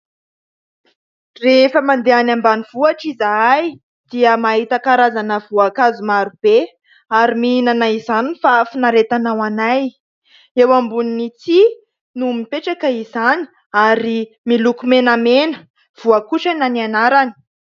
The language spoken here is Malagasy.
Rehefa mandeha anỳ ambanivohitra izahay dia mahita karazana voankazo maro be ary mihinana izany ny fafinaretana ho anay. Eo ambonin'ny tsihy no mipetraka izany ary miloko menamena "voakotrana" ny anarany.